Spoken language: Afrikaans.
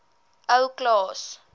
ou klaas